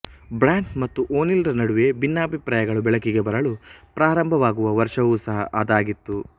ಬ್ರ್ಯಾಂಟ್ ಮತ್ತು ಓನೀಲ್ ರ ನಡುವೆ ಭಿನ್ನಾಭಿಪ್ರಾಯಗಳು ಬೆಳಕಿಗೆ ಬರಲು ಪ್ರಾರಂಭವಾಗುವ ವರ್ಷವೂ ಸಹ ಅದಾಗಿತ್ತು